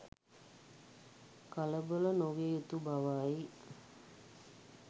කලබල නො විය යුතු බවයි.